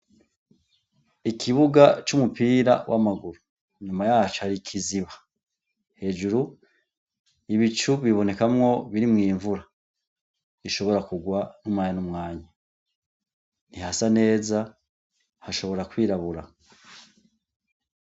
Ikibuga c'umupira w'amaguru, inyuma yaco hari ikiziba. Hejuru ibicu bibonekamwo birimwo imvura ishobora kugwa umwanya n'umwanya. Ntihasa neza, hashobora kwirabura.